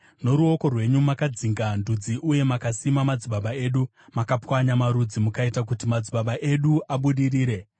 Noruoko rwenyu makadzinga ndudzi uye mukasima madzibaba edu; makapwanya marudzi mukaita kuti madzibaba edu abudirire.